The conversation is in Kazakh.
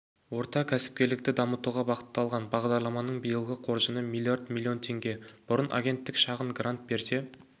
орта кәсіпкерлікті дамытуға бағытталған бағдарламаның биылғы қоржыны млрд млн теңге бұрын агенттік шағын грант берсе